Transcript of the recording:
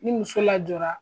Ni muso lajɔra